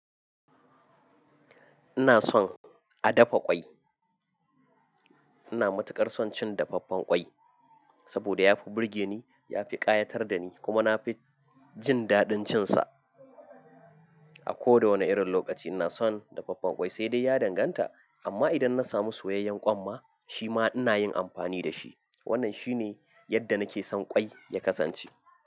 Ina son a dafa ƙwai. Ina matuƙar son cin dafaffen ƙwai saboda ya fi burge ni, ya fi ƙayatar da ni kuma na fi jin daɗin cin sa. A koda wane irin lokaci ina son dafaffen ƙwai sai dai ya danganta amma idan na samu soyayyen ƙwanma shi ma ina yin amfani da shi. Wannan shi ne yadda nake son ƙwai ya kasance.